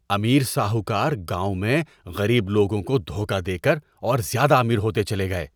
امیر ساہوکار گاؤں میں غریب لوگوں کو دھوکہ دے کر اور زیادہ امیر ہوتے چلے گئے۔